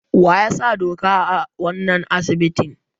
Waya sa doka a wanan asibiti?